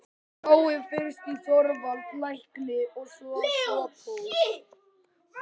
Náið fyrst í Þorvald lækni og Sophus.